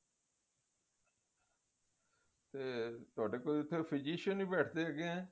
ਤੇ ਤੁਹਾਡੇ ਕੋਲ ਇੱਥੇ physician ਵੀ ਬੈਠਦੇ ਹੈਗੇ ਆ